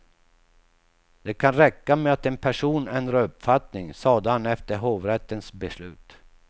Det kan räcka med att en person ändrar uppfattning, sade han efter hovrättens beslut.